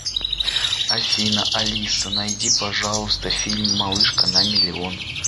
афина алиса найди пожалуйста фильм малышка на миллион